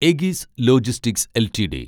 Egis logistics LTD